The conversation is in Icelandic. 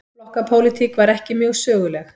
Flokkapólitík var ekki mjög söguleg.